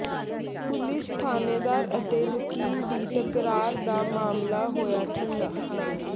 police ਥਾਣੇਦਾਰ ਅਤੇ ਵਕੀਲ ਦੀ ਤਕਰਾਰ ਦਾ ਮਾਮਲਾ ਹੋਇਆ ਠੰਡਾ